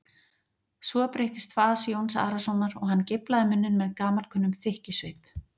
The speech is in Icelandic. Svo breyttist fas Jóns Arasonar og hann geiflaði munninn með gamalkunnum þykkjusvip.